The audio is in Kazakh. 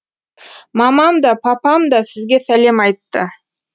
мамам да папам да сізге сәлем айтты